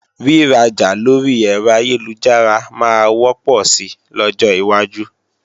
Rírajà lórí ẹ̀rọ ayélujára máa wọ́pọ̀ sí lọ́jọ́ iwájú